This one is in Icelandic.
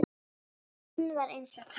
Hann var eins og tölva.